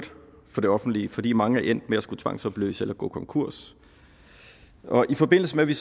for det offentlige fordi mange er endt med at skulle tvangsopløses eller gå konkurs i forbindelse med at vi